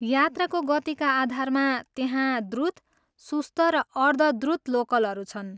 यात्राको गतिका आधारमा त्यहाँ द्रुत, सुस्त र अर्ध द्रुत लोकलहरू छन्।